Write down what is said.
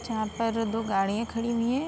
जहाँ पर दो गाडियाँ खड़ी हुई हैं।